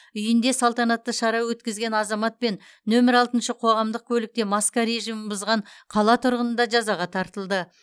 үйінде салтанатты шара өткізген азамат пен нөмірі алтыншы қоғамдық көлікте маска режимін бұзған қала тұрғыны да жазаға тартылды